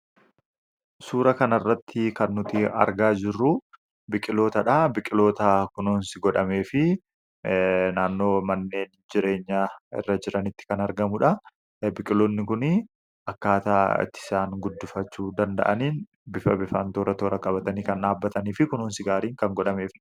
suura kan arratti kan nuti argaa jirruu biqilootaa dha biqqiloota kunoonsi godhamee fi naannoo manneen jireenya irra jiranitti kan argamuudha biqiloonni kun akkaataa itti isaan guddufachu danda'aniin bifa bifaantoora toora qabatanii kan dhaabbatanii fi kunoonsi gaariin kan godhameef